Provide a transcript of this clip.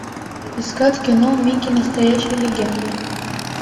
искать кино микки настоящая легенда